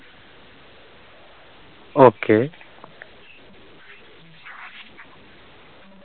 okay